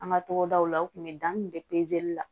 An ka togodaw la u tun bɛ dan kun bɛ la